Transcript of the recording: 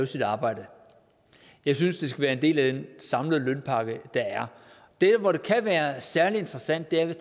sit arbejde jeg synes det skal være en del af den samlede lønpakke der er der hvor det kan være særlig interessant er